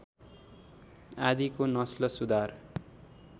आदिको नस्ल सुधार